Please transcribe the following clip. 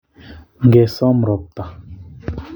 ngesom ropta